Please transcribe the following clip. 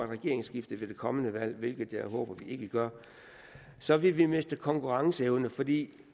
regeringsskifte ved det kommende valg hvilket jeg håber vi ikke gør så vil vi miste konkurrenceevne fordi